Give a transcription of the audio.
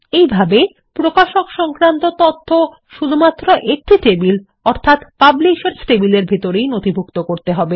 এই ভাবে প্রকাশক সংক্রান্ত তথ্য শুধুমাত্র একটি টেবিল প্রকাশক টেবিলের ভিতরেই নথিভুক্ত করতে হবে